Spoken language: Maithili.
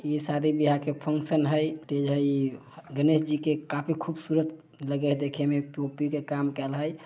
ये शादी-बिहाय के फंक्शन हई। गणेश जी के काफ़ी खूबसूरत लगे है देखे में । पी_ओ _पी के काम करल हई।